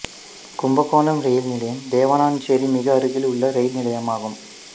Kumbakonam rail நிலையம் தேவனாஞ்சேரி மிக அருகில் உள்ள ரயில் நிலையமாகும்